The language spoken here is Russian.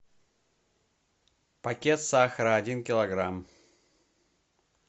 пакет сахара один килограмм